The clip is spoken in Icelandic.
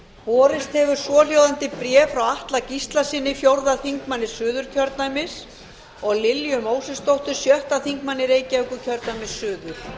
borist hefur svohljóðandi bréf frá atla gíslasyni fjórði þingmaður suðurkjördæmis og lilju mósesdóttur sjötti þingmaður reykjavíkurkjördæmis suður